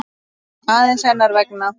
aðeins hennar vegna.